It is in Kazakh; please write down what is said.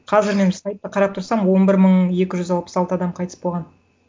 қазір мен сайтта қарап тұрсам он бір мың екі жүз алпыс алты адам қайтыс болған